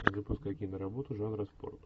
запускай киноработу жанра спорт